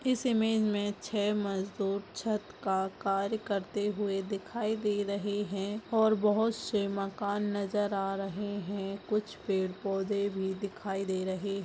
इस इमेज में छः मज़दूर छत का कार्य करते हुई दिखाई दे रहे है और बहुत से मकान नज़र आ रहे है कुछ पेड़ पैधे भी दिखाई दे रहे है।